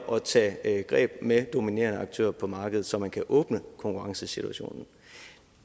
og tage greb med dominerende aktører på markedet så man kan åbne konkurrencesituationen